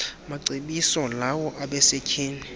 macebiso lawo abasetyhini